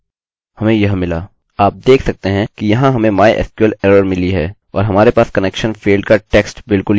आप देख सकते हैं कि यहाँ हमें mysql एररerror मिली है और हमारे पास कनेक्शन फेल्ड का टेक्स्ट बिलकुल यहाँ है जिसका हमने पहले विवरण दिया था